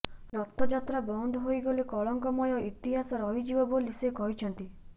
ରଥଯାତ୍ରା ବନ୍ଦ ହୋଇଗଲେ କଳଙ୍କମୟ ଇତିହାସ ରହିଯିବ ବୋଲି ସେ କହିଛନ୍ତି